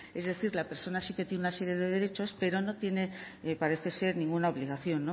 es decir la persona sí que tiene una serie de derechos pero no tiene parece ser ninguna obligación no